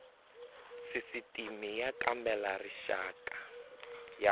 sisitimi y kambela rixaka ya